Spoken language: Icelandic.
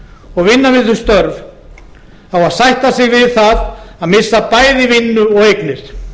og vinna við þau störf á að sætta sig við það að missa bæði vinnu og eignir